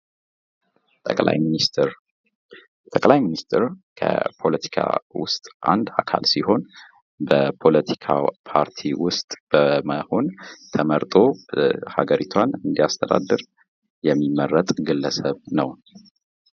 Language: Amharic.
ጠቅላይ ሚኒስተር ፦ጠቅላይ ሚኒስትር ከፖለቲካ ውስጥ አንድ አካል ሲሆን በፖለቲካው ፓርቲ ውስጥ በመሆን ተመርጦ ሀገሪቷን እንዲያስተዳደር የሚመረጥ ግለሰብ ነው ።